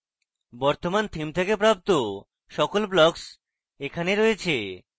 বর্তমান theme থেকে প্রাপ্ত সকল blocks এখানে রয়েছে